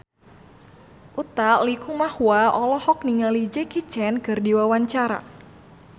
Utha Likumahua olohok ningali Jackie Chan keur diwawancara